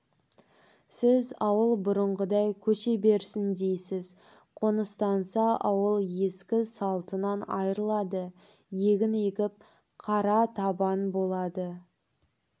сіз ауыл бұрынғыдай көше берсін дейсіз қоныстанса ауыл ескі салтынан айрылады егін егіп қара табан болады